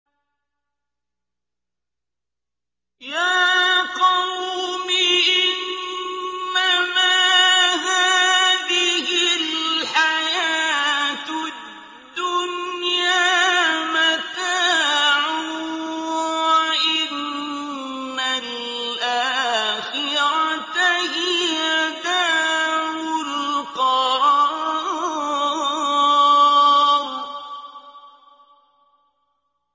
يَا قَوْمِ إِنَّمَا هَٰذِهِ الْحَيَاةُ الدُّنْيَا مَتَاعٌ وَإِنَّ الْآخِرَةَ هِيَ دَارُ الْقَرَارِ